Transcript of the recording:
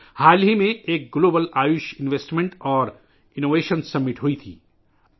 حال ہی میں ایک global Ayush investment and innovation summit کا انعقاد کیا گیاتھا